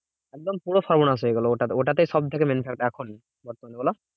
একদম পুরো সর্বনাশ হয়ে গেলো ওটাতে। ওটাতেই সবথেকে main এখনই বর্তমানে বোলো?